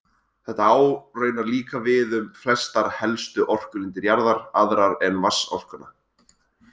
Þetta á raunar líka við um flestar helstu orkulindir jarðar, aðrar en vatnsorkuna.